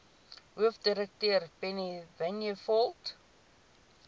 hoofdirekteur penny vinjevold